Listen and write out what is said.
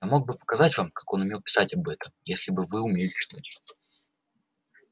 я мог бы показать вам как он писал об этом если бы вы умели читать